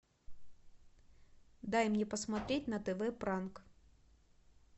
дай мне посмотреть на тв пранк